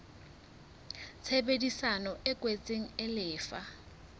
tshebedisano e kwetsweng e lefa